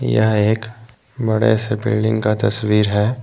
यह एक बड़े से बिल्डिंग का तस्वीर है।